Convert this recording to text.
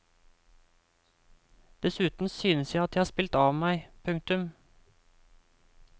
Dessuten synes jeg at jeg har spilt av meg. punktum